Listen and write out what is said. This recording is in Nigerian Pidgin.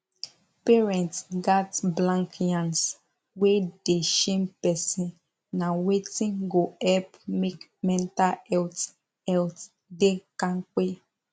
parents gats blank yans wey dey shame person na wetin go help make mental health health da kampe